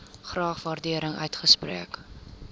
graag waardering uitspreek